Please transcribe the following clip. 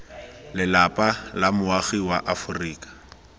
lelapa la moagi wa aforika